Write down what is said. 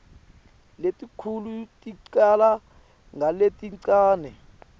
letinkhulu ticala ngaletincane